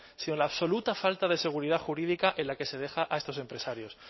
sino la absoluta falta de seguridad jurídica en la que se deja a estos empresarios